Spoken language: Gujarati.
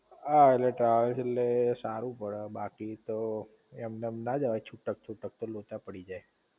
હાઍટલે ટ્રાવેલ્સ એટલે સારું પડે બાકી તો એમનેમ ના જવાય છૂટક છૂટક નઈ તો લોચા પડી જાય